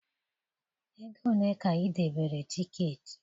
ego ole ka ị debere tiketi?